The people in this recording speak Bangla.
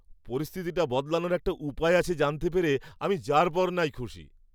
পরিস্থিতিটা বদলানোর একটা উপায় আছে জানতে পেরে আমি যারপরনাই খুশি।